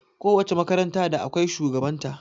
Ko wace makaranta da akwai shugaban ta